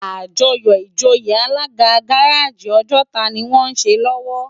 Ájòyò ijóyé Alàgá gàráji Ojota ni wòn sé lòwò